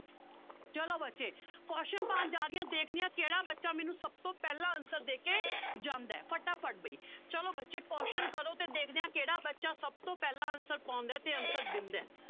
ਚਲੋ ਬੱਚੇ question ਪਾਉਣ ਜਾ ਰਹੀ ਹਾਂ ਦੇਖਦੀ ਹਾਂ ਕਿਹੜਾ ਬੱਚਾ ਮੈਨੂੰ ਸਭ ਤੋਂ ਪਹਿਲਾਂ answer ਦੇ ਕੇ ਜਾਂਦਾ ਹੈ ਫਟਾਫਟ ਬਾਈ ਚਲੋ ਬੱਚੇ question ਕਰੋ ਤੇ ਦੇਖਦੇ ਹਾਂ ਕਿਹੜਾ ਬੱਚਾ ਸਭ ਤੋਂ ਪਹਿਲਾਂ answer ਪਾਉਂਦਾ ਹੈ ਤੇ answer ਦਿੰਦਾ ਹੈ